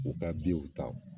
U ka ta.